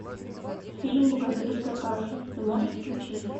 фильм богатырская каша ты можешь включить